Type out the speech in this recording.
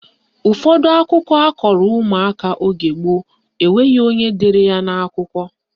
Ụfọdụ akụkọ akọrọ ụmụaka oge gboo enweghị onye dere ya n'akwụkwọ